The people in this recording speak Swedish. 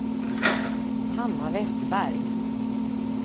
Hanna Westberg